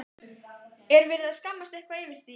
Er verið að skammast eitthvað yfir því?